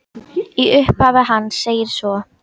Í upphafi hans segir svo